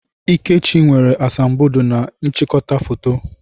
Ikechi nwere asambodo na n'ịchịkọta foto.